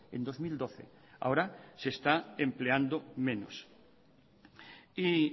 en dos mil doce ahora se está empleando menos y